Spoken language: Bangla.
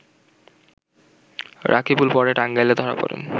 রাকিবুল পরে টাঙ্গাইলে ধরা পড়েন